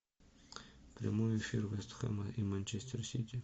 прямой эфир вест хэма и манчестер сити